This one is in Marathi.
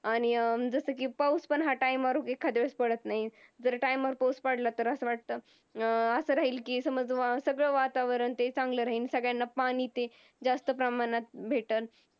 आणि अं जसं की पाऊस पण ह्या Time वर एखाद वेळेस पडत नाही. जर Time वर पाऊस पडला तर असं वाटतं असं राहीन की सगळं वातावरण चांगलं राहील सगळ्यांना पाणी जास्त प्रमाणात भेटल.